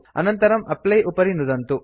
अनन्तरं एप्ली उपरि नुदन्तु